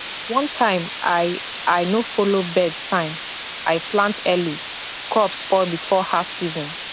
one time i i no follow bird sign i plant early crop spoil before half season